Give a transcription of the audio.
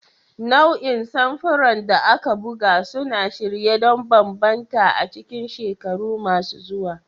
Nau'in samfuran da aka buga suna shirye don bambanta a cikin shekaru masu zuwa.